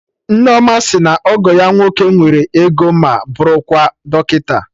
Nneoma sị na ọgọ ya nwoke nwere ego ma bụrụkwa dọkịta